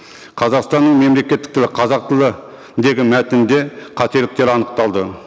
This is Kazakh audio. қазақстанның мемлекеттік тілі қазақ тілі деген мәтінде қателіктер анықталды